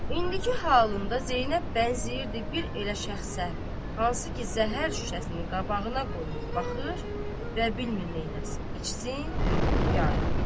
İndiki halında Zeynəb bənzəyirdi bir elə şəxsə, hansı ki, zəhər şüşəsini qabağına qoyub baxır və bilmir neyləsin: içsin ya yox.